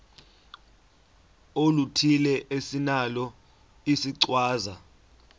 oluthile esinalo isichazwa